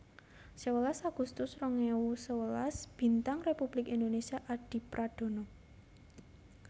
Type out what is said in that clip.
Sewelas agustus rong ewu sewelas Bintang Republik Indonésia Adipradana